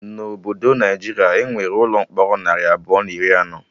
Na obodo Naijiria, Enwere ụlọ mkpọrọ narị abụọ na iri anọ